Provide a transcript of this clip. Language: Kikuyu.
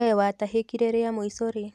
We watahĩkire rĩa mũica rĩ?